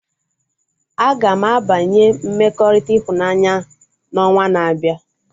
Agam abanye mmekọrịta ịhụnanya na onwa na-abịa